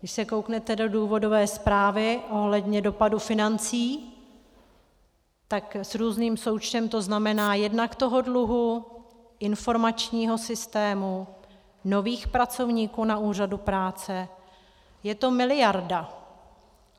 Když se kouknete do důvodové zprávy ohledně dopadu financí, tak s různým součtem to znamená jednak toho dluhu, informačního systému, nových pracovníků na úřadu práce, je to miliarda.